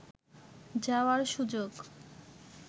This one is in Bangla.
যাওয়ার সুযোগ